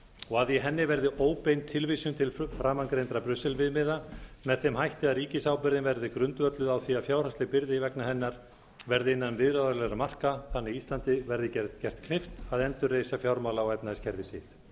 og að í henni verði óbein tilvísun til framangreindra brussel viðmiða með þeim hætti að ríkisábyrgðin verði grundvölluð á því að fjárhagsleg byrði vegna hennar verði innan viðráðanlegra marka þannig að íslandi verði gert kleift að endurreisa fjármála og efnahagskerfi sitt